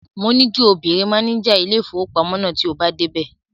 Mo ní kí o béèrè máníjà ilé-ìfowópamọ́ náà tí o bá dé ibẹ̀.